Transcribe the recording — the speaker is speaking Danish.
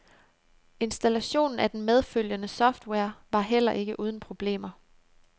Installationen af den medfølgende software var heller ikke uden problemer.